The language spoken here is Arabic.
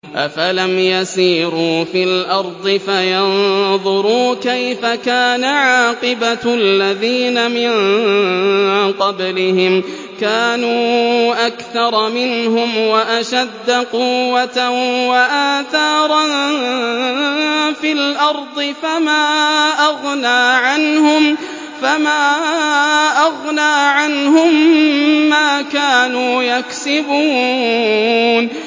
أَفَلَمْ يَسِيرُوا فِي الْأَرْضِ فَيَنظُرُوا كَيْفَ كَانَ عَاقِبَةُ الَّذِينَ مِن قَبْلِهِمْ ۚ كَانُوا أَكْثَرَ مِنْهُمْ وَأَشَدَّ قُوَّةً وَآثَارًا فِي الْأَرْضِ فَمَا أَغْنَىٰ عَنْهُم مَّا كَانُوا يَكْسِبُونَ